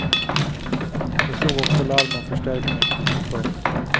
De slog också larm om förstärkning. punkt